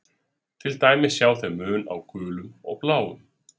Til dæmis sjá þau mun á gulum og bláum.